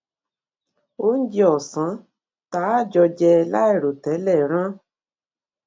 oúnjẹ osan tá a jọ jẹ lairotele rán